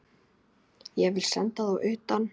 Ég vil senda þá utan!